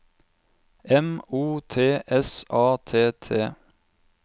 M O T S A T T